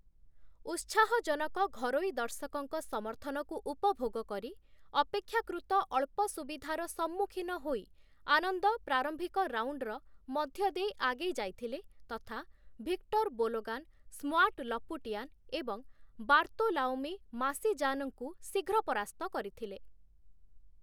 ଉତ୍ସାହଜନକ ଘରୋଇ ଦର୍ଶକଙ୍କ ସମର୍ଥନକୁ ଉପଭୋଗ କରି, ଅପେକ୍ଷାକୃତ ଅଳ୍ପ ଅସୁବିଧାର ସମ୍ମୁଖୀନ ହୋଇ, ଆନନ୍ଦ ପ୍ରାରମ୍ଭିକ ରାଉଣ୍ଡ୍‌ର ମଧ୍ୟଦେଇ ଆଗେଇ ଯାଇଥିଲେ ତଥା ଭିକ୍ଟର୍‌ ବୋଲୋଗାନ୍‌, ସ୍ମ୍ୱାଟ୍ ଲପୁଟିଆନ୍‌ ଏବଂ ବାର୍ତୋଲୋମିଓ ମାସିଜାନ୍‌ଙ୍କୁ ଶୀଘ୍ର ପରାସ୍ତ କରିଥିଲେ ।